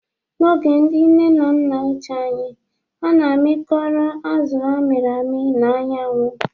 N'oge ndị nne na nna ochie anyị, a na-amịkọrọ azụ a mịrị amị na anyanwụ